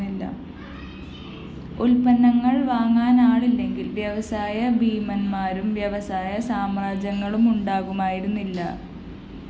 ഉല്‍പന്നങ്ങള്‍ വാങ്ങാനാളില്ലെങ്കില്‍ വ്യവസായ ഭീമന്മാരും വ്യവസായ സാമ്രാജ്യങ്ങളുമുണ്ടാകുമായിരുന്നില്ല